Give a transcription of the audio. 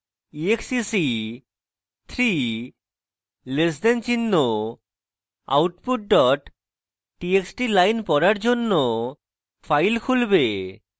exec 3 less the চিহ্ন output dot txt line পড়ার জন্য file খুলবে